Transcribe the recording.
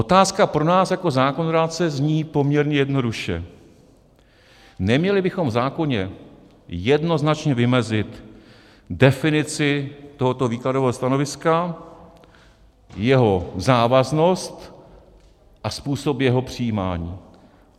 Otázka pro nás jako zákonodárce zní poměrně jednoduše: Neměli bychom v zákoně jednoznačně vymezit definici tohoto výkladového stanoviska, jeho závaznost a způsob jeho přijímání?